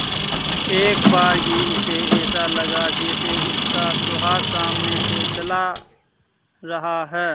एकबारगी उसे ऐसा लगा जैसे उसका सुहास सामने से चला रहा है